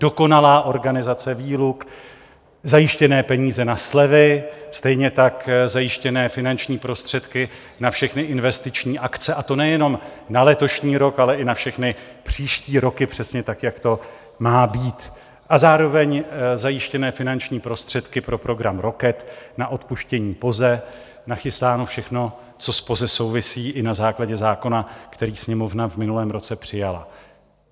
Dokonalá organizace výluk, zajištěné peníze na slevy, stejně tak zajištěné finanční prostředky na všechny investiční akce, a to nejenom na letošní rok, ale i na všechny příští roky, přesně tak jak to má být, a zároveň zajištěné finanční prostředky pro program Rocket, na odpuštění POZE, nachystáno všechno, co s POZE souvisí i na základě zákona, který Sněmovna v minulém roce přijala.